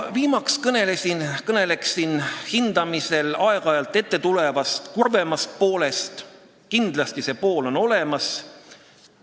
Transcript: Viimaseks kõnelen hindamisel aeg-ajalt ilmnevast kurvemast poolest, mis kindlasti on olemas.